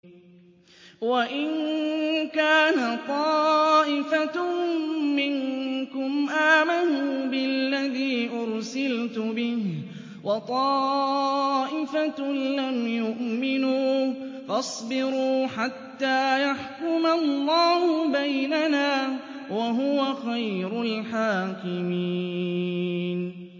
وَإِن كَانَ طَائِفَةٌ مِّنكُمْ آمَنُوا بِالَّذِي أُرْسِلْتُ بِهِ وَطَائِفَةٌ لَّمْ يُؤْمِنُوا فَاصْبِرُوا حَتَّىٰ يَحْكُمَ اللَّهُ بَيْنَنَا ۚ وَهُوَ خَيْرُ الْحَاكِمِينَ